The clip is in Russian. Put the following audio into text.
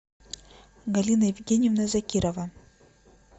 галина евгеньевна закирова